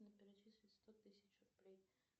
перечислить сто тысяч рублей